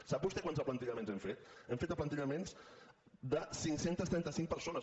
sap vostè quants aplantillaments hem fet hem fet aplantillaments de cinc cents i trenta cinc persones